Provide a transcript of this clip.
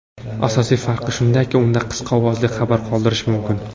Asosiy farqi shundaki, unda qisqa ovozli xabar qoldirish mumkin.